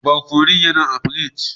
Barkonun yana a pirig.